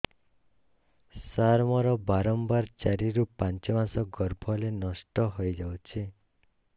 ସାର ମୋର ବାରମ୍ବାର ଚାରି ରୁ ପାଞ୍ଚ ମାସ ଗର୍ଭ ହେଲେ ନଷ୍ଟ ହଇଯାଉଛି